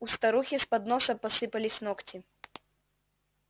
у старухи с подноса посыпались ногти